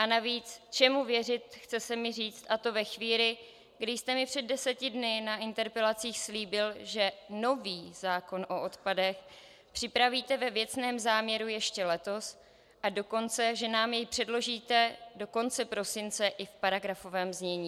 A navíc čemu věřit, chce se mi říct, a to ve chvíli, kdy jste mi před deseti dny na interpelacích slíbil, že nový zákon o odpadech připravíte ve věcném záměru ještě letos, a dokonce že nám jej předložíte do konce prosince i v paragrafovém znění.